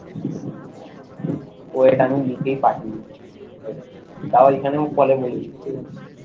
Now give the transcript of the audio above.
wait আমি লিখেই পাঠিয়ে দিচ্ছি wait বা এখানেও call এ বলে দিচ্ছি।